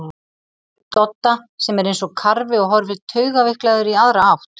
Dodda sem er eins og karfi og horfir taugaveiklaður í aðra átt.